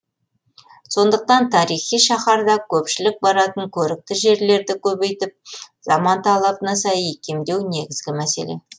сондықтан тарихи шаһарда көпшілік баратын көрікті жерлерді көбейтіп заман талабына сай икемдеу негізгі мәселе